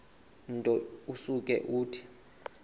nto usuke uthi